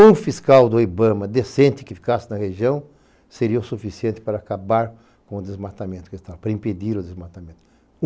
Um fiscal do Ibama decente que ficasse na região seria o suficiente para acabar com o desmatamento, para impedir o desmatamento.